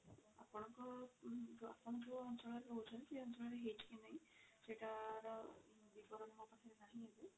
ଆପଣଙ୍କ ଆପଣ ଯଉ ଅଞ୍ଚଳରେ ରହୁଛନ୍ତି ସେଇଠି ହେଇଛିକି ନାହିଁ ସେଇଟା ର ବିବରଣୀ ମୋ ପକାହା ରେ ନାହିଁ ଏବେ।